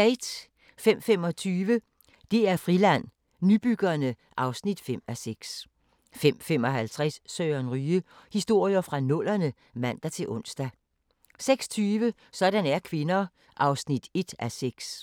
05:25: DR Friland: Nybyggerne (5:6) 05:55: Søren Ryge: Historier fra nullerne (man-ons) 06:20: Sådan er kvinder (1:6)